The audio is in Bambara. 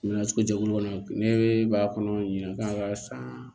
Nana cogo jɛkulu kɔnɔ ne b'a kɔnɔ ɲina k'a ka san